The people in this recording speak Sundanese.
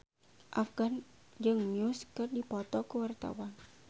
Afgan jeung Muse keur dipoto ku wartawan